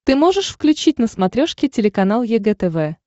ты можешь включить на смотрешке телеканал егэ тв